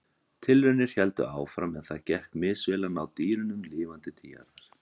Tilraunir héldu áfram en það gekk misvel að ná dýrunum lifandi til jarðar.